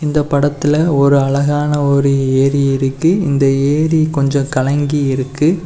இந்த படத்துல ஒரு அழகான ஒரு ஏரி இருக்கு இந்த ஏரி கொஞ்சம் கலங்கி இருக்கு.